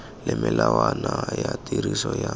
le melawana ya tiriso ya